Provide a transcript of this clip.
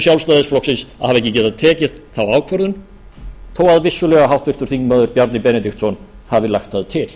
ekki getað tekið þá ákvörðun þó að vissulega háttvirtur þingmaður bjarni benediktsson hafi lagt það til